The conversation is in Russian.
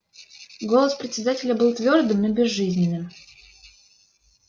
голос председателя был твёрдым но безжизненным